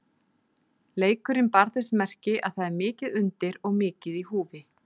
Leikurinn bar þess merki að það er mikið undir og mikið í húfi.